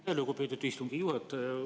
Aitäh, lugupeetud istungi juhataja!